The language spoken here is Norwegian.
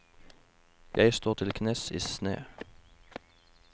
Jeg står til knes i sne.